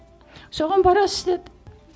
соған барасыз деді